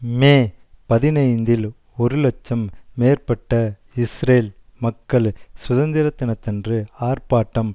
மே பதினைந்தில் ஒரு இலட்சம் மேற்பட்ட இஸ்ரேல் மக்கள் சுதந்திரதினத்தன்று ஆர்பாட்டம்